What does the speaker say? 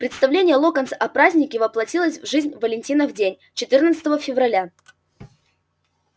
представление локонса о празднике воплотилось в жизнь в валентинов день четырнадцатого февраля